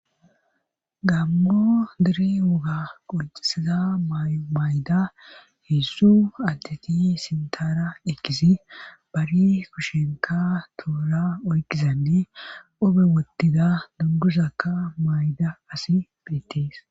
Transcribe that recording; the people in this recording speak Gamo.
gammo dere woga qoncisiza may7o mayda heessu addeti sintara ekkisi bari kushenka tuura oykizanne obe wottida donduzakka mayda asi biittis